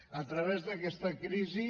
a través d’aquesta crisi